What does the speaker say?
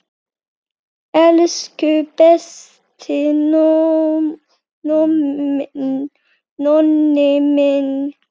Elsku besti Nonni minn.